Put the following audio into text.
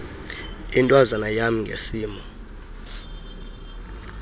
intwazana yam ngesimo